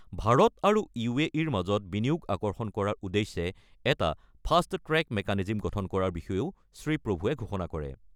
ভাৰত আৰু ৰ মাজত বিনিয়োগ আকৰ্ষণ কৰাৰ উদ্দেশ্যে এটা ফাষ্ট ট্ৰেক মেকানিজম গঠন কৰাৰ বিষয়েও শ্ৰীপ্ৰভুৱে ঘোষণা কৰে।